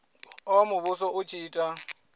oa muvhuso u tshi ita